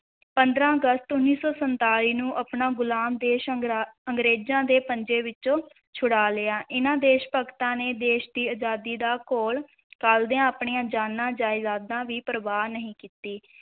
ਪੰਦਰਾਂ ਅਗਸਤ ਉੱਨੀ ਸੌ ਸੰਤਾਲੀ ਨੂੰ ਆਪਣਾ ਗੁਲਾਮ ਦੇਸ਼ ਅੰਗਰਾ~ ਅੰਗਰੇਜ਼ਾਂ ਦੇ ਪੰਜੇ ਵਿੱਚੋਂ ਛੁਡਾ ਲਿਆ, ਇਨ੍ਹਾਂ ਦੇਸ਼-ਭਗਤਾਂ ਨੇ ਦੇਸ਼ ਦੀ ਅਜ਼ਾਦੀ ਦਾ ਘੋਲ ਘੁਲਦਿਆਂ ਆਪਣੀਆਂ ਜਾਨਾਂ ਜਾਇਦਾਦਾਂ ਦੀ ਪ੍ਰਵਾਹ ਨਹੀਂ ਕੀਤੀ।